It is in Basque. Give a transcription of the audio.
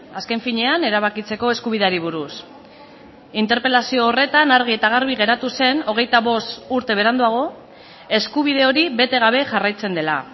azken finean erabakitzeko eskubideari buruz interpelazio horretan argi eta garbi geratu zen hogeita bost urte beranduago eskubide hori bete gabe jarraitzen dela